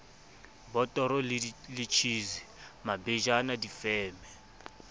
botoro le tjhisi mabejana difeme